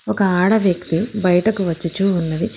ఒక ఆడ వ్యక్తి బయటకు వచ్చుచున్నది.